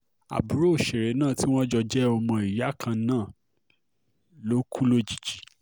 àbúrò òṣèré náà tí wọ́n jọ jẹ́ ọmọ ìyá kan náà ló kù lójijì